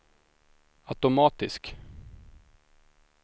automatisk